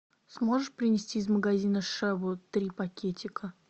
сможешь принести из магазина шебу три пакетика